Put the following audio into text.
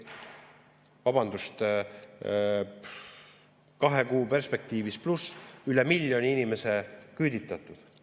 Vabandust, kahe kuu perspektiivis üle miljoni inimese küüditatud.